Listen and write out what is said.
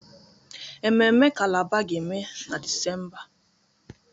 Ememme Calabar ga-eme na Disemba